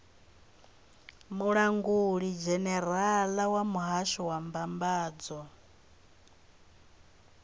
mulangulidzhenerala wa muhasho wa mbambadzo